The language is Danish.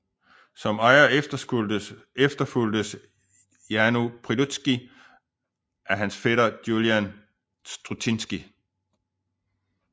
Som ejer efterfulgtes Janu Prilutskij af hans fætter Julian Strutinskij